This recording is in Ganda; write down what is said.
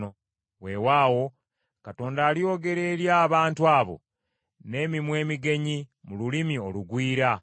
Weewaawo, Katonda alyogera eri abantu abo n’emimwa emigenyi mu lulimi olugwira,